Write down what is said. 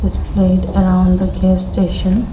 displayed around the gas station.